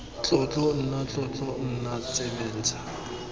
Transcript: tlotlo nna tlotlo nna tsebentlha